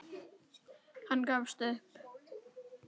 Hann gefst upp.